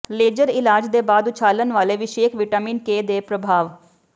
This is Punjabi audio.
ਲੇਜ਼ਰ ਇਲਾਜ ਦੇ ਬਾਅਦ ਉਛਾਲਣ ਵਾਲੇ ਵਿਸ਼ੇਕ ਵਿਟਾਮਿਨ ਕੇ ਦੇ ਪ੍ਰਭਾਵ